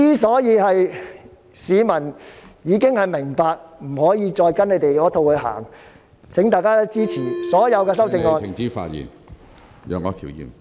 市民已明白不能再跟他們那一套......請大家支持所有修正案。